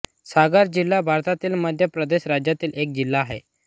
सागर जिल्हा भारतातील मध्य प्रदेश राज्यातील एक जिल्हा आहे